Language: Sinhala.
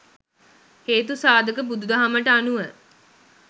හේතු සාධක බුදුදහමට අනුව